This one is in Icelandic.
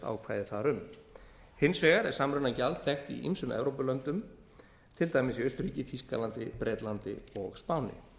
ákvæði þar um hins vegar er samrunagjald þekkt í ýmsum evrópulöndum til dæmis í austurríki þýskalandi bretlandi og spáni